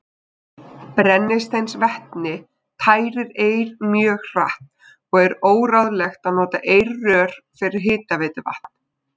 Brennisteinsvetni tærir eir mjög hratt, og er óráðlegt að nota eirrör fyrir hitaveituvatn.